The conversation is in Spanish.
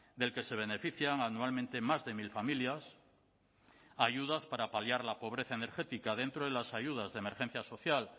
del que se benefician anualmente más de mil familias ayudas para paliar la pobreza energética dentro de las ayudas de emergencia social